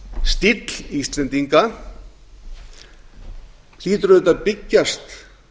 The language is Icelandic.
stíll íslendinga hlýtur auðvitað að byggjast